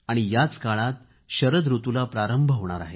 याच काळात शरद ऋतुला प्रारंभ होणार आहे